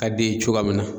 Ka d'i ye cogoya min na